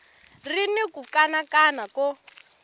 ri ni ku kanakana ko